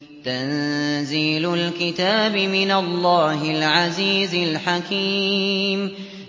تَنزِيلُ الْكِتَابِ مِنَ اللَّهِ الْعَزِيزِ الْحَكِيمِ